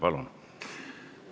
Palun!